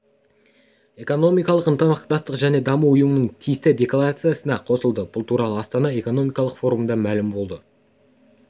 экономикалық ынтымақтастық және даму ұйымының тиісті декларациясына қосылды бұл туралы астана экономикалық форумында мәлім болды